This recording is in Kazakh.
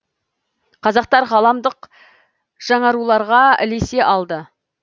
қазақтар ғаламдық жаңаруларға ілесе алды